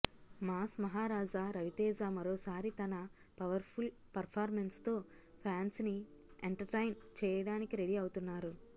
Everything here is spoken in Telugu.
మాస్ మహారాజా రవితేజ మరోసారి తన పవర్ ఫుల్ పర్ఫార్మెన్స్తో ప్యాన్స్ ని ఎంటర్టైన్ చేయడానికి రెడీ అవుతున్నారు